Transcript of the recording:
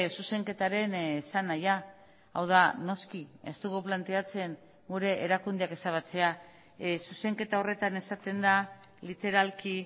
zuzenketaren esanahia hau da noski ez dugu planteatzen gure erakundeak ezabatzea zuzenketa horretan esaten da literalki